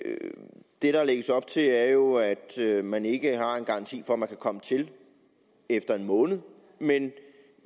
der lægges op til er jo at man ikke har en garanti for at man kan komme til efter en måned men